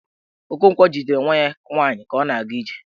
Okonkwo jidere nwa ya nwaanyi ka ọ na-aga ije.